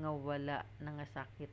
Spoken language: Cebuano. nga wala nangasakit